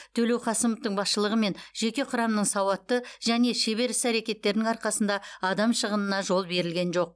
төлеуқасымовтың басшылығымен жеке құрамның сауатты және шебер іс әрекеттерінің арқасында адам шығынына жол берілген жоқ